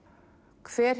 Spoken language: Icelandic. hver